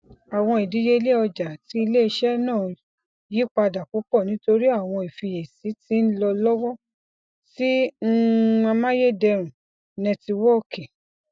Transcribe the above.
awọn idiyele ọja ti ileiṣẹ naa yipada pupọ nitori awọn ifiyesi ti nlọ lọwọ ti um amayederun nẹtiwọọki